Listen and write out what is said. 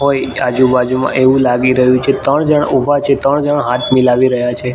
હોય આજુ બાજુમાં એવું લાગી રહ્યું છે ત્રણ જણ ઊભા છે ત્રણ જણ હાથ મિલાવી રહ્યા છે.